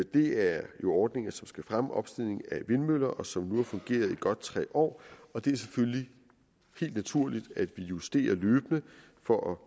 det er jo ordninger som skal fremme opstillingen af vindmøller og som nu har fungeret i godt tre år og det er selvfølgelig helt naturligt at vi justerer løbende for at